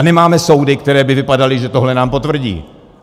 A nemáme soudy, které by vypadaly, že tohle nám potvrdí.